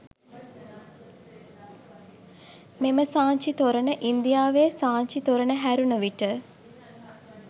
මෙම සාංචි තොරණ ඉන්දියාවේ සාංචි තොරණ හැරුණ විට